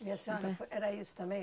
E a senhora, era isso também?